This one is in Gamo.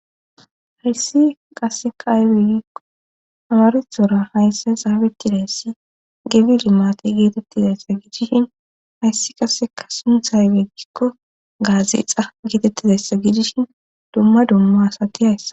hayssi qasseka aybegikko amarezora haysse zaabetideyssi gebili maate geetettizayssa gidishin hayssi qasseka sunthay geggikko gaazi ixa geetettidayssa gidishin dumma dumma asati hayssa